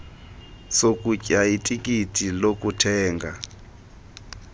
sokutya itikiti lokuthenga